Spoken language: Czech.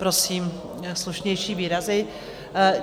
Prosím, slušnější výrazy.